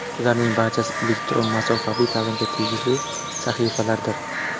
Ularning barchasi elektron masofaviy ta’limga tegishli sahifalardir.